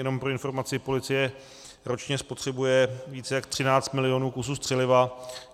Jenom pro informaci, policie ročně spotřebuje více jak 13 milionů kusů střeliva.